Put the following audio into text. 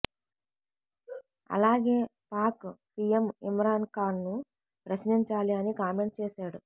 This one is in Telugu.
అలాగే పాక్ పీఎం ఇమ్రాన్ ఖాన్ను ప్రశ్నించాలి అని కామెంట్ చేశాడు